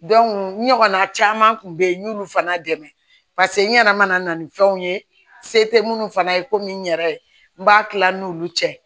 n ɲɔgɔnna caman kun be yen n y'olu fana dɛmɛ paseke n ɲana ni fɛnw ye se te munnu fana ye komi n yɛrɛ n b'a kila n'olu cɛ